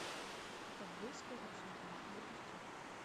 ковбойская рапсодия запусти